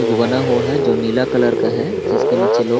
कुछ बना हुआ है जो नीला कलर का है जिसके नीचे लोग --.